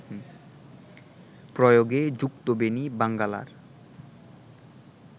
প্রয়াগে যুক্তবেণী-বাঙ্গালার